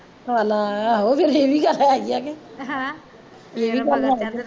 ਲੈ ਫਿਰ ਆਹੋ ਏਹ ਵੀ ਗੱਲ ਹੈਗੀ ਆ ਕਿ ਅਹ ਏਹ ਵੀ ਗੱਲ ਹੈ